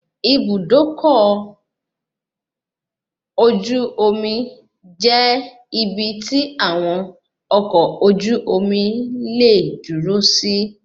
Ibùdó ọkọ̀ ojú omi jẹ́ ibi tí àwọn ọkọ ojú omi leè dúró si.